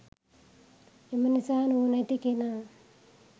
එම නිසා නුවණැති කෙනා